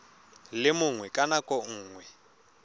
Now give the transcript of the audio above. le mongwe ka nako nngwe